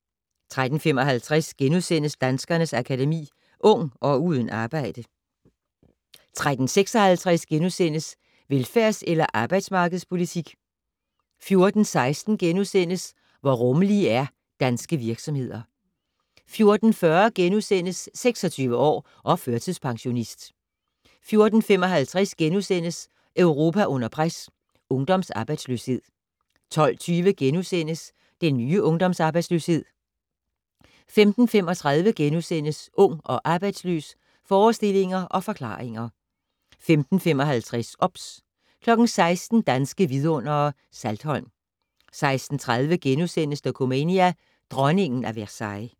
13:55: Danskernes Akademi: Ung - og uden arbejde * 13:56: Velfærds- eller arbejdsmarkedspolitik? * 14:16: Hvor rummelige er danske virksomheder? * 14:40: 26 år og førtidspensionist * 14:55: Europa under pres - ungdomsarbejdsløshed * 15:20: Den nye ungdomsarbejdsløshed * 15:35: Ung og arbejdsløs - forestillinger og forklaringer * 15:55: OBS 16:00: Danske Vidundere: Saltholm 16:30: Dokumania: Dronningen af Versailles *